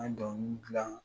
An ye dɔnkili gilan